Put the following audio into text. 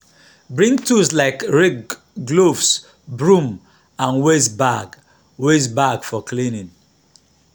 bring tools like rake gloves broom and waste bag waste bag for cleaning.